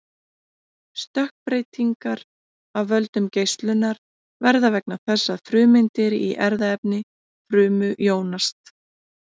stökkbreytingar af völdum geislunar verða vegna þess að frumeindir í erfðaefni frumu jónast